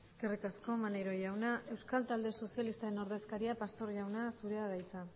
eskerrik asko maneiro jauna euskal talde sozialistaren ordezkaria pastor jauna zurea da hitza